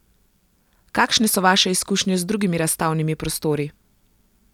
Kakšne so vaše izkušnje z drugimi razstavnimi prostori?